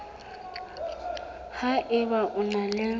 ha eba o na le